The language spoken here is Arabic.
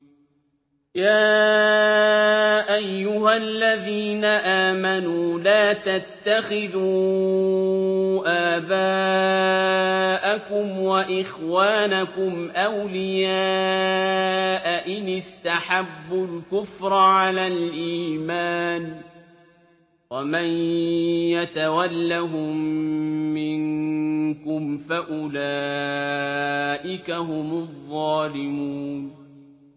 يَا أَيُّهَا الَّذِينَ آمَنُوا لَا تَتَّخِذُوا آبَاءَكُمْ وَإِخْوَانَكُمْ أَوْلِيَاءَ إِنِ اسْتَحَبُّوا الْكُفْرَ عَلَى الْإِيمَانِ ۚ وَمَن يَتَوَلَّهُم مِّنكُمْ فَأُولَٰئِكَ هُمُ الظَّالِمُونَ